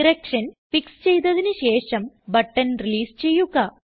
direction fix ചെയ്തതിന് ശേഷം button release ചെയ്യുക